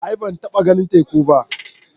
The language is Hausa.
A'a ban taɓa ganin teku ba.